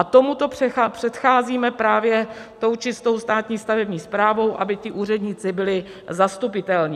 A tomuto předcházíme právě tou čistou státní stavební správou, aby ti úředníci byli zastupitelní.